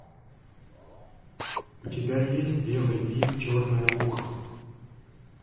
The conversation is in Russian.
у тебя есть белый бим черное ухо